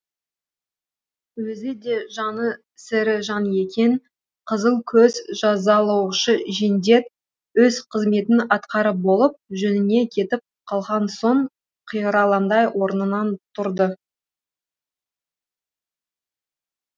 өзіде жаны сірі жан екен қызыл көз жазалаушы жендет өз қызметін атқарып болып жөніне кетіп қалған соң қиралаңдай орнынан тұрды